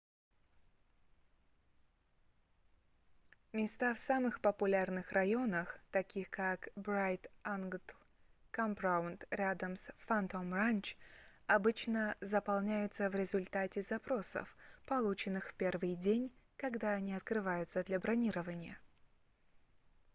места в самых популярных районах таких как bright angtl campground рядом с phantom ranch обычно заполняются в результате запросов полученных в первый день когда они открываются для бронирования